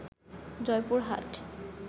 Joypurhat